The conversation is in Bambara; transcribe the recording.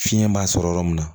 Fiɲɛ b'a sɔrɔ yɔrɔ min na